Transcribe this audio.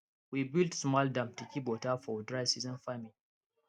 we build small dam to keep water for dry season farming